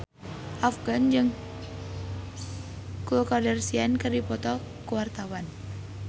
Afgan jeung Khloe Kardashian keur dipoto ku wartawan